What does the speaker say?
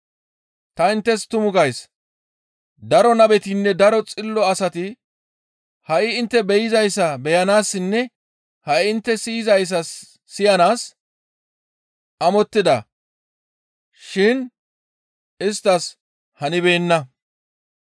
Ta inttes tumu gays; daro nabetinne daro xillo asati ha7i intte be7izayssa beyanaassinne ha7i intte siyizayssa siyanaas amottida shin isttas hanibeenna.